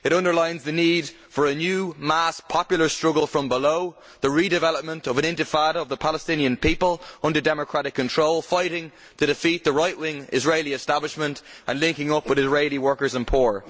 It underlines the need for a new mass popular struggle from below, the redevelopment of an intifada of the Palestinian people under democratic control, fighting to defeat the right wing Israeli establishment and linking up with Israeli workers and poor.